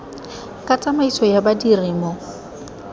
ka tsamaiso ya badiri mo